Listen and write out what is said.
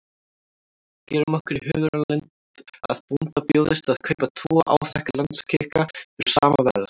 Gerum okkur í hugarlund að bónda bjóðist að kaupa tvo áþekka landskika fyrir sama verð.